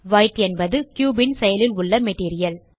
white என்பது cube ன் செயலில் உள்ள மெட்டீரியல்